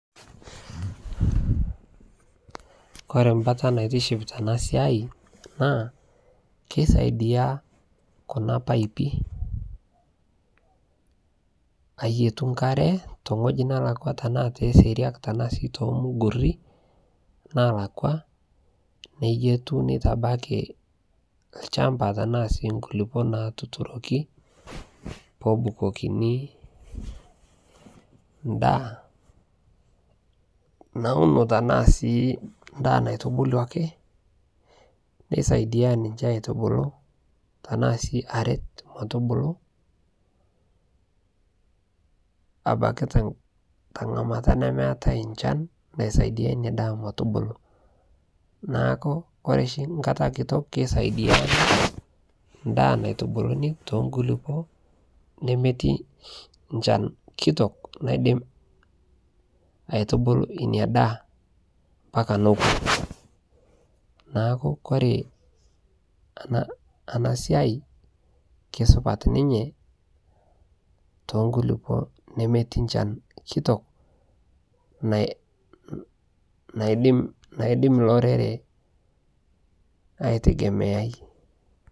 Kore mbata naitiship tanaa siai naa keisaidia kuna paipi ayetu nkare tengoji nalakwa tanaa te seriak tanaa sii temugurii nalakwaa neyetuu neitabakii lshampa tanaa sii nkulipo natuturoki peebukokini ndaa nauno, tanaa sii ndaa naitubuluaki neisaidia ninshe aitubulu tanaa sii aret metubuluu abaki tengamata nemeatai nchan naisaidia inia daa metubulu naaku kore shi nkata kitok, keisaidia ndaa naitubuluni tonkulipoo nemeti nchan kitok naidim aitubulu inia daa mpaka nokuu naaku kore ana siai keisupat ninyee tonkulipoo nemetii nchan kitok naidim lorere aitegemeai.